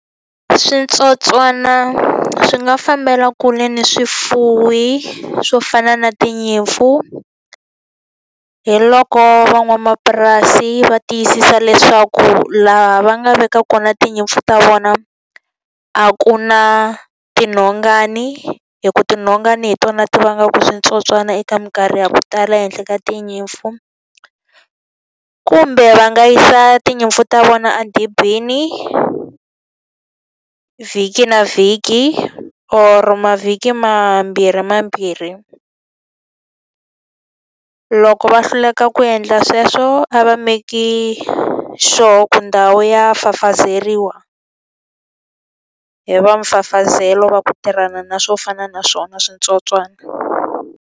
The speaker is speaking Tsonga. Switsotswana swi nga fambela kule ni swifuwi swo fana na tinyimpfu, hi loko van'wamapurasi va tiyisisa leswaku laha va nga veka kona tinyimpfu ta vona a ku na tinhongani. Hikuva tinhongani hi tona ti vanga ku switsotswana eka minkarhi ya ku tala ehenhla ka tinyimpfu. Kumbe va nga yisa tinyimpfu ta vona edibini vhiki na vhiki or mavhiki mambirhi mambirhi. Loko va hluleka ku endla sweswo a va make-i sure ku ndhawu ya fafazeriwa, hi va mfafazelo va ku tirhana na swo fana na swona switsotswana.